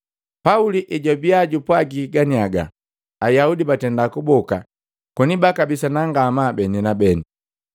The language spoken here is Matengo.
Pauli ejwabia jupwagiki ganiaga, Ayaudi batenda kuboka koni bakabisana ngamaa beni na beni.